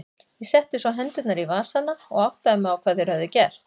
Ég setti svo hendurnar í vasana og áttaði mig á hvað þeir höfðu gert.